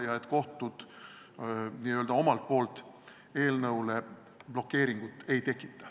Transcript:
Nii et kohtud omalt poolt eelnõule blokeeringut ei tekita.